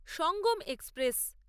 Sangam express